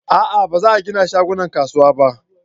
a'a ba za a gina shaguna a kasuwa ba